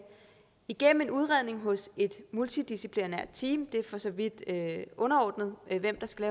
igennem en udredning hos et multidisciplinært team det er for så vidt underordnet hvem der skal